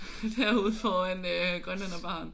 Derude foran øh grønlænderbaren